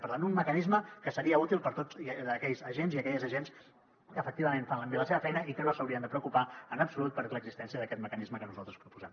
per tant un mecanisme que seria útil per a tots aquells agents i aquelles agents que efectivament fan bé la seva feina i que no s’haurien de preocupar en absolut per l’existència d’aquest mecanisme que nosaltres proposem